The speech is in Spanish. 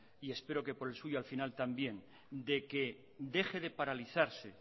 y espero que por el suyo al final también de que deje de paralizarse